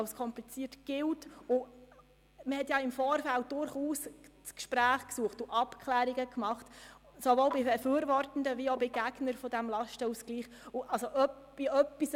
Es wurden durchaus im Vorfeld Gespräche mit Befürwortern sowie auch mit Gegnern des Lastenausgleichs geführt und Abklärungen getroffen.